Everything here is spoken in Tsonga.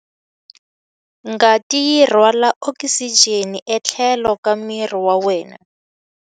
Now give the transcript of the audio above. Ngati yi rhwala okisijeni etlhelo ka miri wa wena.